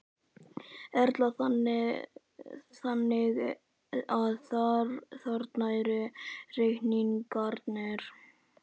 Erla: Þannig að þarna eru reikningarnir?